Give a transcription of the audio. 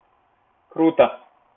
круто